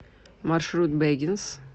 маршрут бэггинс